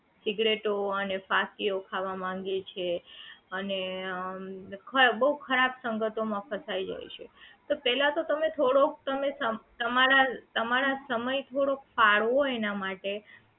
સિગારેટો અને ફાકીઓ ખાવા માંડે છે અને આમ ખાય બહુ ખરાબ સંગતો માં ફસાઈ જાય છે તો પહેલા તો તમે થોડોક સમય તમારા તમારા સમય થોડોક કાઢવો એના માટે